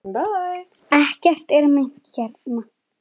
Ekkert er meint hérna.